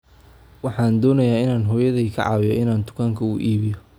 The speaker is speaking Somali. Waxaan doonayaa inaan hooyaday ka caawiyo inan dukaanka u iibiyo